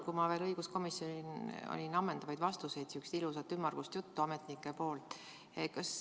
Kui ma veel õiguskomisjonis olin, ega ma ei saanud ammendavaid vastuseid, kuulsin ametnikelt sihukest ilusat ümmargust juttu.